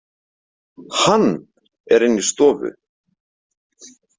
HANN er inni í stofu.